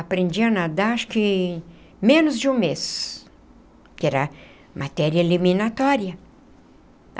Aprendi a nadar acho que menos de um mês, que era matéria eliminatória.